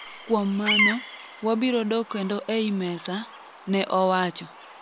kuom mano, wabiro dok kendo ei mesa,' ne owacho